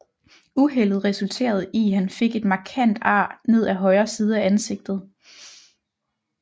Uheldet resulterede i han fik et markant ar ned af højre side af ansigtet